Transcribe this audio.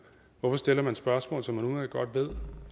hvorfor stiller man spørgsmål som man udmærket godt ved